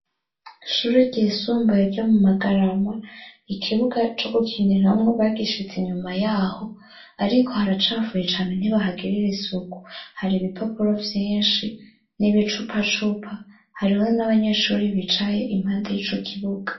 Ishuri ryisumbuye ryo mu magarama ikibuga co gukiniramwo bagishitse inyuma yaho, ariko haracafuye cane ntibahagirira isuku hari ibipapuro vyinshi n'ibicupa cupa hariho n'abanyeshuri bicaye impande y'ico kibuga.